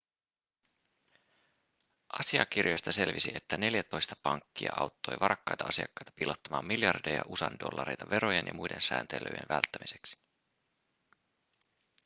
asiakirjoista selvisi että neljätoista pankkia auttoi varakkaita asiakkaita piilottamaan miljardeja usa:n dollareita verojen ja muiden sääntelyjen välttämiseksi